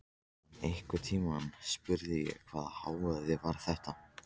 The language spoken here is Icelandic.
En einhvern tímann spurði ég: Hvaða hávaði var þetta?